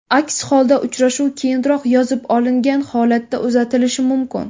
Aks holda, uchrashuv keyinroq yozib olingan holatda uzatilishi mumkin.